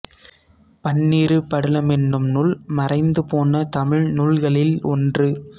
பன்னிரு படலம் என்னும் நூல் மறைந்துபோன தமிழ் நூல்களில் ஒன்று